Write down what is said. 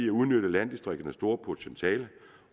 at udnytte landdistrikternes store potentiale